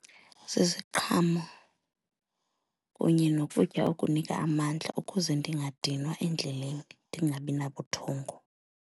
Ziziqhamo kunye nokutya okunika amandla ukuze ndingadinwa endleleni, ndingabi nabuthongo.